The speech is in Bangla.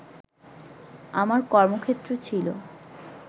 আমার কর্মক্ষেত্র ছিল